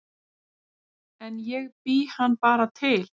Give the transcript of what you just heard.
En ég bý hann bara til